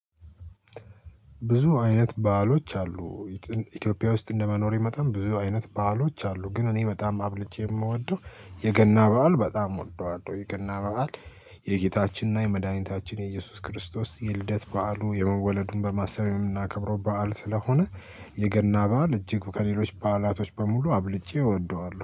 ብዙ አይነት በዓሎች አሉ። ኢትዮጵያ ውስጥ እንደመኖሬ መጠን ብዙ አይነት በዓሎች አሉ። ግን እኔ በጣም አብልጄ የምወደው የገና በዓል በጣም እወደዋለሁ። የገና በዓል የጌታችንና የመድኃኒታችን የኢየሱስ ክርስቶስ የልደት በዓሉ የመወለዱን በማሰብ የምናከብረው በዓል ስለሆነ። የገና በዓል እጅግ ከሌሎች በዓላቶች በሙሉ አብልጬ እወደዋለሁ